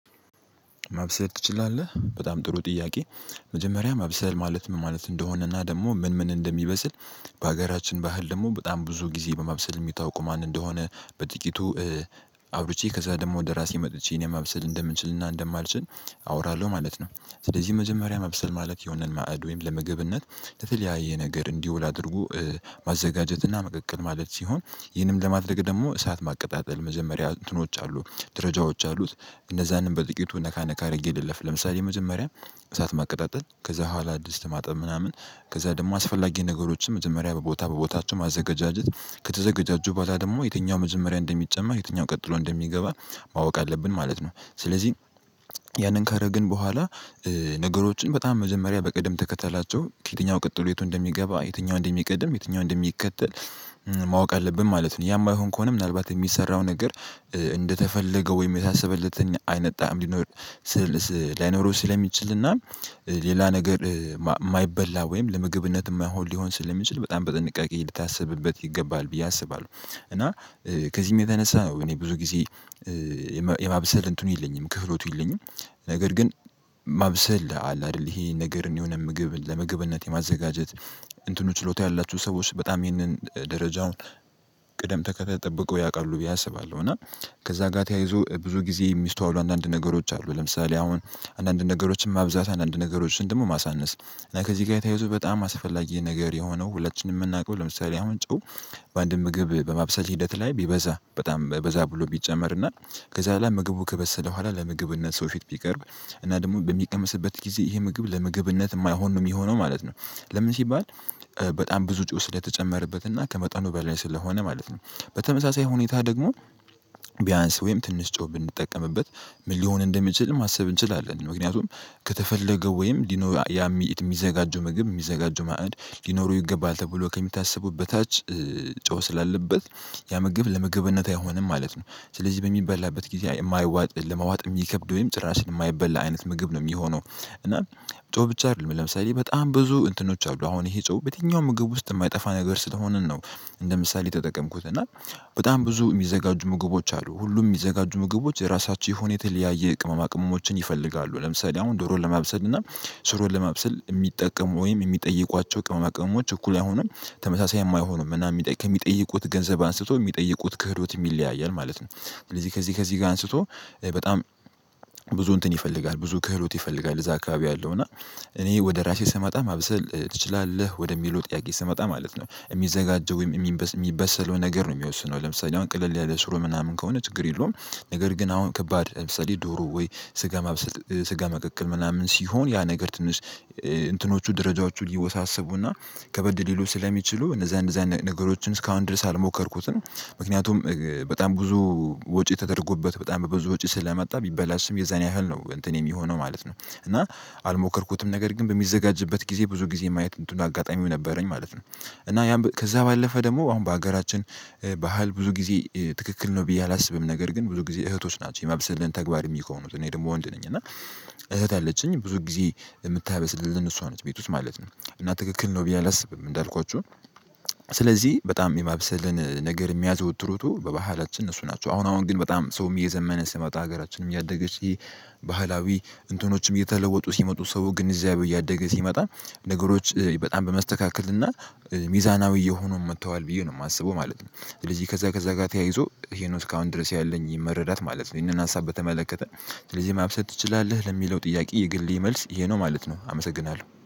ማብሰል ትችላለህ በጣም ጥሩ ጥያቄ? መጀመሪያ ማብሰል ማለት ምን ማለት እንደሆነና ደግሞ ምን ምን እንደሚበስል በሀገራችን ባህል ደግሞ በጣም ጊዜ በማብሰል የሚታወቁ ማን እንደሆነ በጥቂቱ አውርቼ ከዛ ደግሞ ወደ ራሴ መጥቼ እኔም ማብስል እንደምንችልና እንደማልችል አወራለሁ ማለት ነው። ስለዚህ መጀመሪያ ማብሰል ማለት የሆነን ማዕድ ወይም ለምገብነት ለተለያየ ነገር እንዲውል አድርጎ ማዘጋጀትና መቀቀል ማለት ሲሆን ይህንም ለማድረግ ደግሞ እሳት ማቀጣጠል መጀመሪያ እንትኖች አሉ ደረጃዎች አሉት። እነዛንም በጥቂቱ ነካነካ አድርጌ ልለፍ ለምሳሌ መጀመሪያ እሳት ማቀጣጠል ከዛ በኋላ ድስት ማጠብ ምናምን ከዛ ደግሞ አስፈላጊ ነገሮችን መጀመሪያ በቦታ በቦታቸው ማዘገጃጀት ከተዘገጃጁ በኋላ ደግሞ የትኛው መጀመሪያ እንደሚጨመር የትኛው ቀጥሎ እንደሚገባ ማወቅ አለብን ማለት ነው። ስለዚህ ያንን ካረገን በኋላ ነገሮችን በጣም መጀመሪያ ተከተላቸው ከየትኛው ቀጥሎ የቱ እንደሚገባ የትኛው እንደሚቀድም የትኛው እንደሚከተል ማወቅ አለብን ማለት ነው። ያማይሆን ከሆነ ምናልባት የሚሰራው ነገር እንደተፈለገው ወይም የታሰበለትን አይነት ጣዕም ሊኖር ላይኖረው ስለሚችልና ሌላ ነገር የማይበላ ወይም ለምግብነት የማይሆን ሊሆን ስለሚችል በጣም በጥንቃቄ ሊታስብበት ይገባል ብዬ አስባለሁ። እና ከዚህም የተነሳ ነው እኔ ብዙ ጊዜ የማብሰል እንትኑ የለኝም ክህሎቱ የለኝም። ነገር ግን ማብሰል አለ አይደል ይሄ ነገርን የሆነ ምግብ ለምግብነት የማዘጋጀት እንትኑ ችሎታ ያላችው ሰዎች በጣም ይህንን ደረጃውን ቅደም ተከተል ጠብቀው ያውቃሉ ብዬ አስባለሁ። እና ከዛ ጋር ተያይዞ ብዙ ጊዜ የሚስተዋውሉ አንዳንድ ነገሮች አሉ። ለምሳሌ አሁን አንዳንድ ነገሮችን ማብዛት አንዳንድ ነገሮችን ደግሞ ማሳነስ እና ከዚህ ጋር የተያዙ በጣም አስፈላጊ ነገር የሆነው ሁላችንም የምናውቀው ለምሳሌ አሁን ጨው በአንድ ምግብ በማብሰል ሂደት ላይ ቢበዛ በጣም በዛ ብሎ ቢጨመርና ከዛ ላይ ምግቡ ከበሰለ በኋላ ለምግብነት ሰው ፊት ቢቀርብ እና ደግሞ በሚቀመስበት ጊዜ ይሄ ምግብ ለምግብነት የማይሆን ነው የሚሆነው ማለት ነው። ለምን ሲባል በጣም ብዙ ጨው ስለተጨመረበት እና ከመጠኑ በላይ ስለሆነ ማለት ነው። በተመሳሳይ ሁኔታ ደግሞ ቢያንስ ወይም ትንሽ ጨው ብንጠቀምበት ምን ሊሆን እንደሚችል ማሰብ እንችላለን። ምክንያቱም ከተፈለገ ወይም ያ የሚዘጋጀው ምግብ የሚዘጋጀው ማዕድ ሊኖረው ይገባል ተብሎ ከሚታሰበው በታች ጨው ስላለበት ያ ምግብ ለመገበነት አይሆንም ማለት ነው። ስለዚህ በሚበላበት ጊዜ የማያዋጥ ለማዋጥ የሚከብድ ወይም ጭራሽን የማይበላ አይነት ምግብ ነው የሚሆነው። እና ጨው ብቻ አይደለም ለምሳሌ በጣም ብዙ እንትኖች አሉ አሁን ይሄ ጨው በየትኛውም ምግብ ውስጥ የማይጠፋ ነገር ስለሆንን ነው። እንደ ምሳሌ የተጠቀምኩት እና በጣም ብዙ የሚዘጋጁ ምግቦች አሉ ሁሉም የሚዘጋጁ ምግቦች የራሳቸው የሆነ የተለያየ ቅመማ ቅመሞችን ይፈልጋሉ። ለምሳሌ አሁን ዶሮ ለማብሰል እና ሽሮን ለማብሰል የሚጠቀሙ ወይም የሚጠይቋቸው ቅመማ ቅመሞች እኩል አይሆንም። ተመሳሳይም አይሆንም እና የ ከሚጠይቁት ገንዘብ አንስቶ የሚጠይቁት ክህሎትም ይለያያል ማለት ነው። ስለዚህ ከዚህ ከዚህ ከዚህ ጋር አንስቶ በጣም ብዙ እንትን ይፈልጋል ብዙ ክህሎት ይፈልጋል እዛ አካባቢ ያአለው እና እኔ ወደ ራሴ ስመጣ ማብሰል ትችላለህ ወደሚለው ጥያቄ ስመጣ ማለት ነው የሚዘጋጀው ወይም የሚበሰለው ነገር ነው የሚወስነው ለምሳሌ አሁን ቀለል ያለ ሽሮ ምናምን ከሆነ ችግር የለውም። ነገር ግን አሁን ከባድ ለምሳሌ ዶሮ ወይ ስጋ ማብሰል ስጋ መቀቀል ምናምን ሲሆን ያ ነገር ትንሽ እንትኖቹ ደረጃዎቹ ይወሳሰቡና ከበድ ሊሉ ስለሚችሉ እነዛ እነዛ ነገሮችን እስካሁን ድረስ አልሞከርኩትም። ምክንያቱም በጣም ብዙ ወጪ ተደረጎበት በጣም በብዙ ወጪ ስለመጣ ቢበላሽም የዛን ያህል ነው እንትን የሚሆነው ማለት ነው። እና አልሞከርኩትም ነገር ግን በሚዘጋጅበት ጊዜ ብዙ ጊዜ ማየት እንትኑ አጋጣሚው ነበረኝ ማለት ነው። እና ያን ከዛ ባለፈ ደግሞ አሁን በሀገራችን ባህል ብዙ ጊዜ ትክክል ነው ብዬ አላስብም። ነገር ግን ብዙ ጊዜ እህቶች ናቸው የማብሰልን ተግባር የሚሆኑት እኔ ደግሞ ወንድ ነኝ እና እህት አለችኝ ብዙ ጊዜ የምታበስልልን እሷ ነች ቤት ውስጥ ማለት ነው። እና ትክክል ነው ብዬ አላስብም እንዳልኳችሁ። ስለዚህ በጣም የማብሰልን ነገር የሚያዘወትሩቱ በባህላችን እነሱ ናቸው። አሁን አሁን ግን በጣም ሰውም እየዘመነ ሲመጣ ሀገራችንም እያደገች ይሄ ባህላዊ እንትኖችም የተለወጡ ሲመጡ ሰው ግንዛቤው እያደገ ሲመጣ ነገሮች በጣም በመስተካከል እና ሚዛናዊ እየሆኑ መጥተዋል ብዬ ነው የማስበው ማለት ነው። ስለዚህ ከዛ ከዛ ጋር ተያይዞ ይሄ ነው እስካሁን ድረስ ያለኝ መረዳት ማለት ነው። ይሄንን ሀሳብ በተመለከተ ስለዚህ ማብሰል ትችላለህ ለሚለው ጥያቄ የግሌ መልስ ይሄ ነው ማለት ነው። አመሰግናለሁ